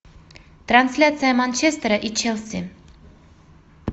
трансляция манчестера и челси